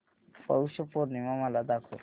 पौष पौर्णिमा मला दाखव